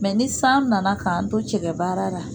ni san nana k'an to cɛkɛ baara la